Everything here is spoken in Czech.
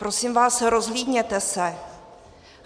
Prosím vás, rozhlídněte se.